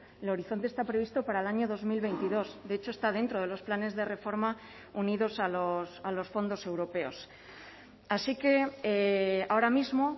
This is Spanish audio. el horizonte está previsto para el año dos mil veintidós de hecho está dentro de los planes de reforma unidos a los fondos europeos así que ahora mismo